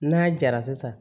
N'a jara sisan